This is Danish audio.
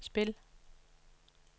spil